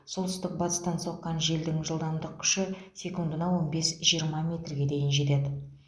солтүстік батыстан соққан желдің күші он бес жиырма метрге дейін жетеді